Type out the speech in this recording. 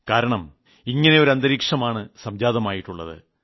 കാരണം ഇങ്ങനെ ഒരു അന്തരീക്ഷമാണ് സംജാതമായിട്ടുളളത്